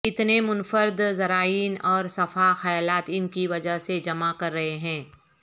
کتنے منفرد زائرین اور صفحہ خیالات ان کی وجہ سے جمع کر رہے ہیں